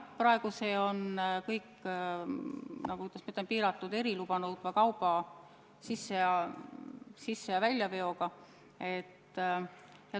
Praegu on see kõik, kuidas ma ütlen, piiratud eriluba nõudva kauba sisse- ja väljaveo regulatsiooniga.